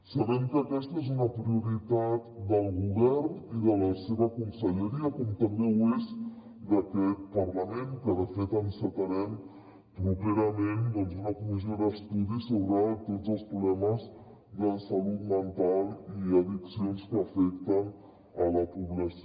sabem que aquesta és una prioritat del govern i de la seva conselleria com també ho és d’aquest parlament i que de fet encetarem properament doncs una comissió d’estudi sobre tots els problemes de salut mental i addiccions que afecten la població